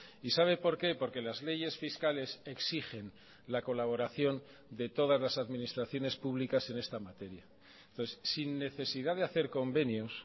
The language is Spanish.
y sabe por qué porque las leyes fiscales exigen la colaboración de todas las administraciones públicas en esta materia entonces sin necesidad de hacer convenios